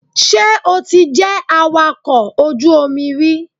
Ṣé o ti jẹ́ awakọ̀ ojú omi rí?